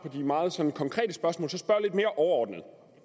de meget sådan konkrete spørgsmål at mere overordnet om